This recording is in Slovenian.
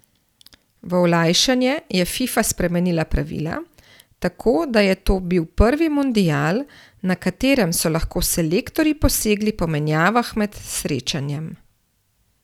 V olajšanje je Fifa spremenila pravila, tako da je to bil prvi mundial, na katerem so lahko selektorji posegli po menjavah med srečanjem.